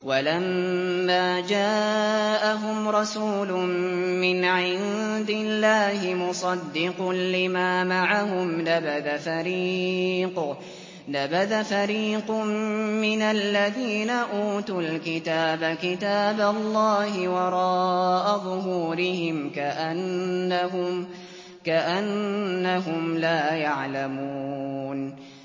وَلَمَّا جَاءَهُمْ رَسُولٌ مِّنْ عِندِ اللَّهِ مُصَدِّقٌ لِّمَا مَعَهُمْ نَبَذَ فَرِيقٌ مِّنَ الَّذِينَ أُوتُوا الْكِتَابَ كِتَابَ اللَّهِ وَرَاءَ ظُهُورِهِمْ كَأَنَّهُمْ لَا يَعْلَمُونَ